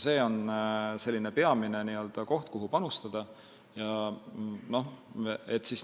See on peamine koht, kuhu panustada.